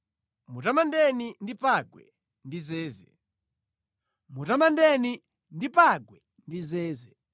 Mutamandeni poyimba malipenga, mutamandeni ndi pangwe ndi zeze.